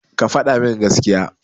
Ka faɗa min gaskiya.